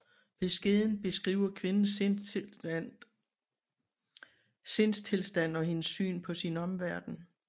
Beskeden beskriver kvindens sindstilstand og hendes syn på sin omverden